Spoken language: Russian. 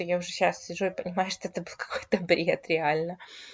я уже сейчас сижу и понимаю что это был какой то бред реально